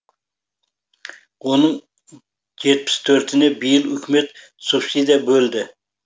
оның жетпіс төртіне биыл үкімет субсидия бөлді